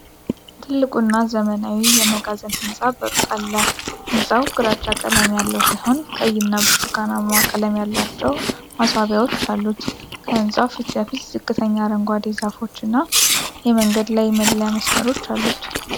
ትልቁና ዘመናዊው የመጋዘን ህንፃ በሩቅ አለ። ህንፃው ግራጫ ቀለም ያለው ሲሆን ቀይና ብርቱካናማ ቀለም ያላቸው ማስዋቢያዎች አሉት። ከህንፃው ፊት ለፊት ዝቅተኛ አረንጓዴ ዛፎችና የመንገድ ላይ መለያ መስመሮች አሉት።